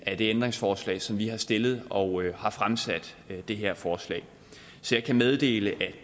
af det ændringsforslag som vi har stillet og har fremsat det her forslag så jeg kan meddele at